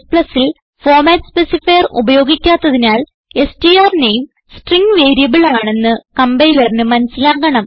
Cൽ format specifier ഉപയോഗിക്കാത്തതിനാൽ സ്ട്ര്നേം string variable ആണെന്ന് കംപൈലറിന് മനസിലാകണം